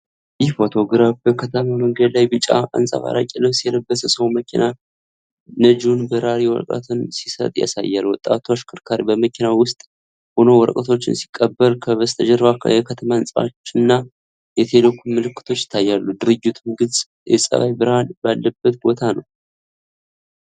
ይህ ፎቶግራፍ በከተማ መንገድ ላይ ቢጫ አንጸባራቂ ልብስ የለበሰ ሰው ለመኪና ነጂው በራሪ ወረቀቶችን ሲሰጥ ያሳያል። ወጣቱ አሽከርካሪ በመኪናው ውስጥ ሆኖ ወረቀቶቹን ሲቀበል፣ ከበስተጀርባው የከተማ ህንጻዎች እና የቴሌኮም ምልክቶች ይታያሉ፤ ድርጊቱም ግልጽ የፀሐይ ብርሃን ባለበት ቦታ ነው።